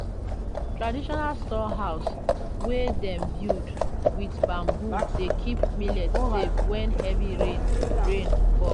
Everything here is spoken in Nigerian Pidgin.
traditional storehouse wey dem build with bamboo dey keep millet safe when heavy rain rain fall.